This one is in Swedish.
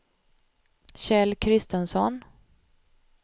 Kjell Kristensson